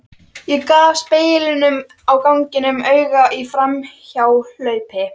Hún gaf speglinum á ganginum auga í framhjáhlaupi.